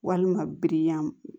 Walima biriyan